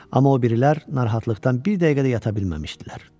Amma o birilər narahatlıqdan bir dəqiqə də yata bilməmişdilər.